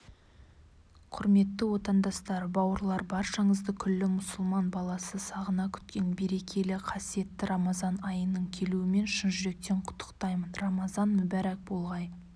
құрметті отандастар бауырлар баршаңызды күллі мұсылман баласы сағына күткен берекелі қасиетті рамазан айының келуімен шын жүректен құттықтаймын рамазан мүбәрәк болғай